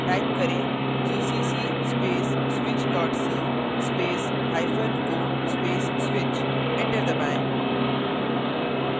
type करें : gcc space switch c spaceo space switch enter दबाएँ